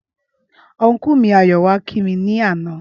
Ọnkú mi Ayọ̀ wáá kí wa ní àná